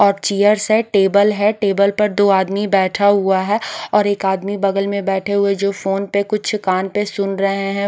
और चेयर्स है टेबल है टेबल पर दो आदमी बैठा हुआ है और एक आदमी बगल में बैठे हुए जो फोन पे कुछ कान पर सुन रहे हैं।